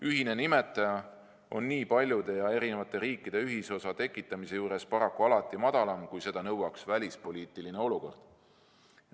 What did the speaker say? Ühine nimetaja on nii paljude ja erinevate riikide ühisosa tekitamise juures paraku alati madalam, kui seda nõuaks välispoliitiline olukord.